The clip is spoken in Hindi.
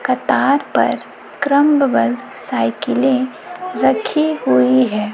कतार पर क्रमबद्ध साइकिलें रखी हुई है।